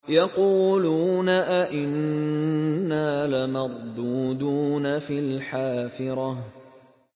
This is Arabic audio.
يَقُولُونَ أَإِنَّا لَمَرْدُودُونَ فِي الْحَافِرَةِ